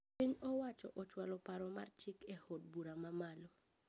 Piny owacho ochwalo paro mar chik e od bura ma malo